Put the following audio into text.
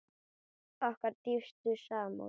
Okkar dýpstu samúð.